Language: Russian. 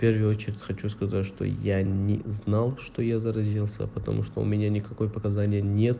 первую очередь хочу сказать что я не знал что я заразился потому что у меня никакой показания нет